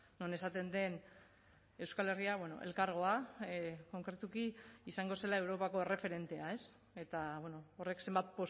non esaten den euskal herria elkargoa konkretuki izango zela europako erreferentea eta horrek zenbat